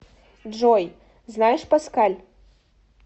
джой знаешь паскаль